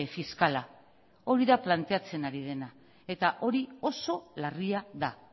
fiskala hori da planteatzen ari dena eta hori oso larria da